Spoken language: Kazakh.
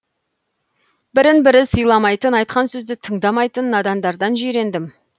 бірін бірі сыйламайтын айтқан сөзді тыңдамайтын надандардан жирендім